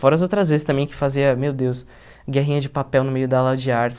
Fora as outras vezes também que fazia, meu Deus, guerrinha de papel no meio da aula de artes.